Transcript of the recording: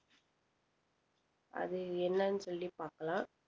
அது என்னன்னு சொல்லி பாக்கலாம்